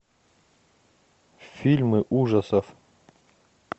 фильмы ужасов